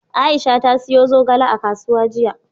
Aisha ta siyo zogale a kasuwa jiya.